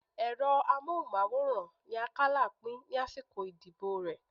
Ẹ̀rọ amóhùnmáwòrán ni Akálà pín lásìkò ìdìbò rẹ